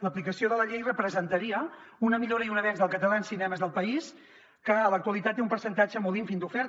l’aplicació de la llei representaria una millora i un avenç del català en cinemes del país que en l’actualitat té un percentatge molt ínfim d’oferta